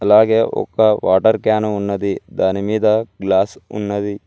అలాగే ఒక water can ఉన్నది దాని మీద గ్లాస్ ఉన్నది.